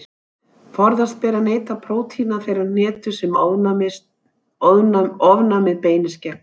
Forðast ber að neyta prótína þeirrar hnetu sem ofnæmið beinist gegn.